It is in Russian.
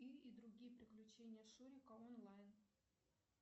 ы и другие приключения шурика онлайн